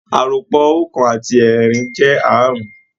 Àròpọ̀ Oókan àti ẹẹ́rin jẹ́ aárùn-ún